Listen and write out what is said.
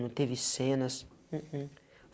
Não teve cenas. hum hum